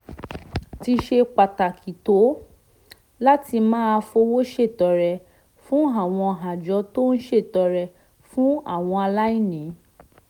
ti ṣe pàtàkì tó láti máa fowó ṣètọrẹ fún àwọn àjọ tó ń ṣètọrẹ fún àwọn aláìní